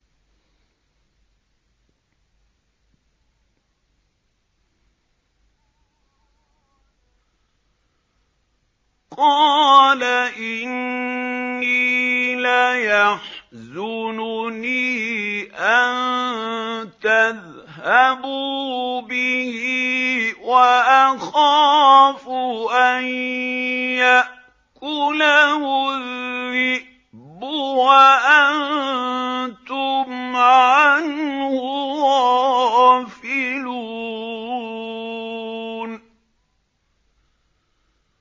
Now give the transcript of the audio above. قَالَ إِنِّي لَيَحْزُنُنِي أَن تَذْهَبُوا بِهِ وَأَخَافُ أَن يَأْكُلَهُ الذِّئْبُ وَأَنتُمْ عَنْهُ غَافِلُونَ